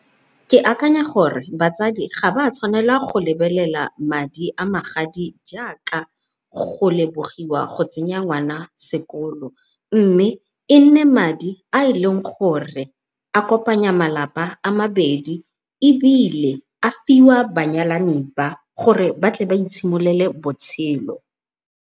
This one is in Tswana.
Ke akanya gore batsadi ga ba tshwanela go lebelela madi a magadi jaaka go lebogiwa go tsenya ngwana sekolo, mme e nne madi a e leng gore a kopanya malapa a mabedi ebile a fiwa banyalani ba gore ba tle ba itshimololele botshelo.